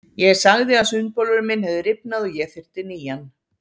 Ég sagði að sundbolurinn minn hefði rifnað og ég þyrfti nýjan.